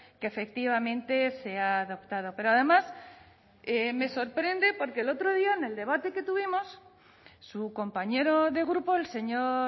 que efectivamente se ha adoptado pero además me sorprende porque el otro día en el debate que tuvimos su compañero de grupo el señor